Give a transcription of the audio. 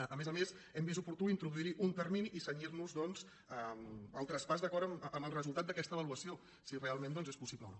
a més a més hem vist oportú introduir·hi un termini i cenyir·nos doncs al traspàs d’acord amb el resultat d’aquesta avaluació si real·ment és possible o no